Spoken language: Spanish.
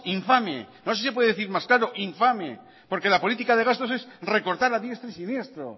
infame no sé si se puede decir más claro infame porque la política de gasto es recortar a diestro y siniestro